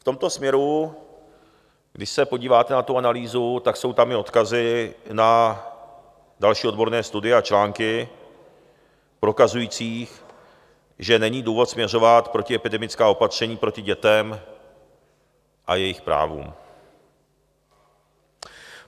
V tomto směru, když se podíváte na tu analýzu, tak jsou tam i odkazy na další odborné studie a články prokazující, že není důvod směřovat protiepidemická opatření proti dětem a jejich právům.